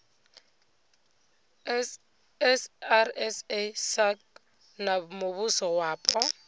srsa sasc na muvhuso wapo